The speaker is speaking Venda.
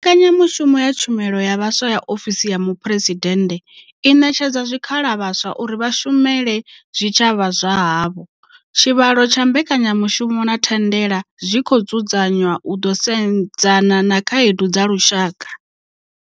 Mbekanyamushumo ya Tshumelo ya Vhaswa ya ofisi ya Muphuresidennde i ṋetshedza zwikhala vhaswa uri vha shumele zwitshavha zwa havho. Tshivhalo tsha mbekanyamushumo na thandela zwi khou dzudza nywa u ḓo sedzana na khaedu dza lushaka.